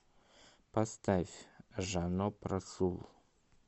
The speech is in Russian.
поставь жаноб расул